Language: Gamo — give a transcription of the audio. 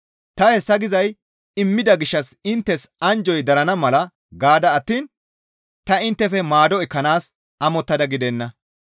Ta hessa gizay immida gishshas inttes anjjoy darana mala gaada attiin ta inttefe maado ekkanaas amottada gidenna.